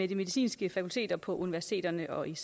de medicinske fakulteter på universiteterne og i